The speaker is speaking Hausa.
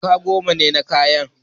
Jaka goma ne ya sayi kayan.